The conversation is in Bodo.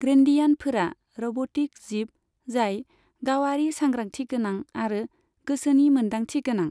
ग्रेनडियानफोरा रब'टिक जिब जाय गावारि सांग्रांथिगोनां आरो गोसोनि मोन्दांथिगोनां।